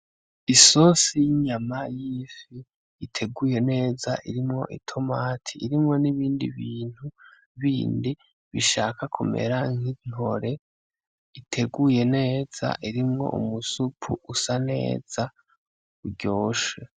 Isosi y'inyama y'ifi iteguye neza irimwo itomati irimwo nibindi bintu bindi bishaka kumera nk'intore iteguye neza irimwo umusupu usa neza uryoshe.